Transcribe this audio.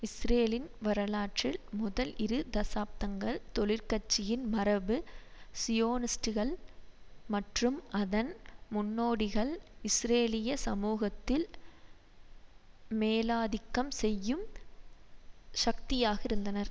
இஸ்ரேலின் வரலாற்றில் முதல் இரு தசாப்தங்கள் தொழிற்கட்சியின் மரபு சியோனிஸ்டுகள் மற்றும் அதன் முன்னோடிகள் இஸ்ரேலிய சமூகத்தில் மேலாதிக்கம் செய்யும் சக்தியாக இருந்தனர்